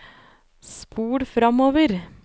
spol framover